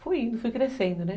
Fui indo, fui crescendo, né?